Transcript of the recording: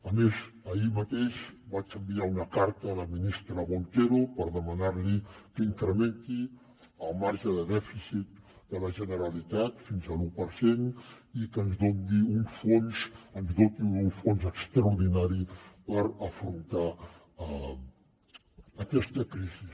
a més ahir mateix vaig enviar una carta a la ministra montero per demanar li que incrementi el marge de dèficit de la generalitat fins a l’u per cent i que ens doti d’un fons extraordinari per afrontar aquesta crisi